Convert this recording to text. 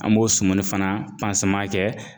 An b'o sumuni fana kɛ